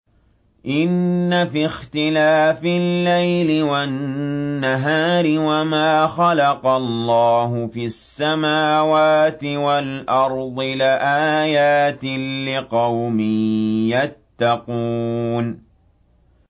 إِنَّ فِي اخْتِلَافِ اللَّيْلِ وَالنَّهَارِ وَمَا خَلَقَ اللَّهُ فِي السَّمَاوَاتِ وَالْأَرْضِ لَآيَاتٍ لِّقَوْمٍ يَتَّقُونَ